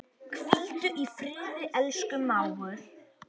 Hvíldu í friði, elsku mágur.